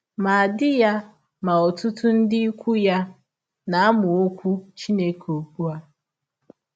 Ma di ya ma ọtụtụ ndị ikwụ ya na - amụ Ọkwụ Chineke ụgbụ a.